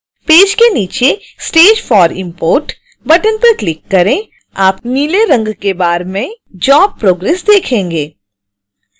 page के नीचे stage for import button पर क्लिक करें आप नीले रंग के बार में job progress देखेंगे